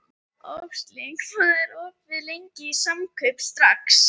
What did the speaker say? Hann hefur æft með okkur í nokkra daga.